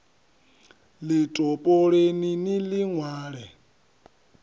ḽi topoleni ni ḽi ṅwale